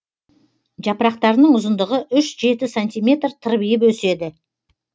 жапырақтарының ұзындығы үш жеті сантиметр тырбиып өседі